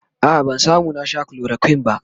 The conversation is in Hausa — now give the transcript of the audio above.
a'a ban samu na Sha chloroquine ba